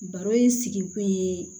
Baro in sigi kun ye